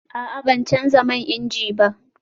A'a, ban canza man inji ba